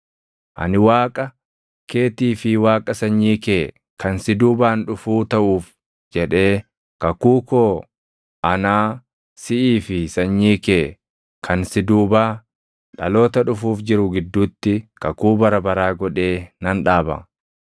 Ani Waaqa keetii fi Waaqa sanyii kee kan si duubaan dhufuu taʼuuf jedhee kakuu koo anaa, sii fi sanyii kee kan si duubaa, dhaloota dhufuuf jiru gidduutti kakuu bara baraa godhee nan dhaaba.